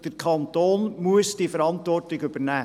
Der Kanton muss diese Verantwortung übernehmen.